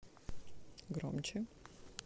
громче